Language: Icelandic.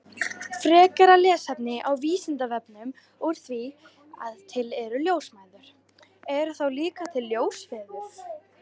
Frekara lesefni á Vísindavefnum Úr því að til eru ljósmæður, eru þá líka til ljósfeður?